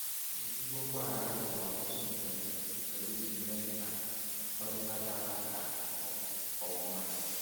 N’ezigbo mgbaghara bụ ọtụtụ mgbe ụzọ isi mee ka mmekọrịta dara ada ghọọ nke ọma.